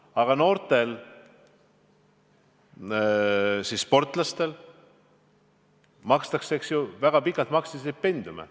Aga noortele sportlastele maksti väga pikalt stipendiume.